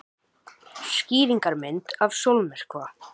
Skýringarmynd af sólmyrkva.